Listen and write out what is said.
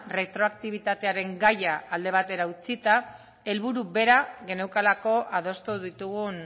retroaktibitatearen gaia alde batera utzita helburu bera geneukalako adostu ditugun